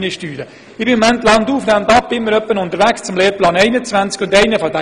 Ich bin immer wieder landauf, landab im Kanton unterwegs, um über den Lehrplan 21 zu sprechen.